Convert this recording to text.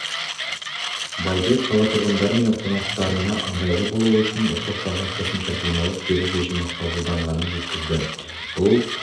байбек қала тұрғындары мен қонақтарына ыңғайлы болу үшін оқушыларға қосымша демалыс беру шешімі қабылданғанын жеткізді бұл